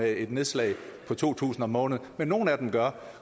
af et nedslag på to tusind kroner om måneden men nogle af dem gør